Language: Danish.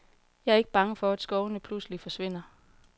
Jeg er ikke bange for, at skovene pludselig forsvinder.